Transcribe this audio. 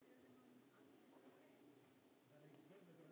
Það þurfti að bíða sumars.